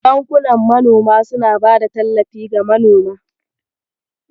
Bankunan manoma suna bada tallafi ga manoma.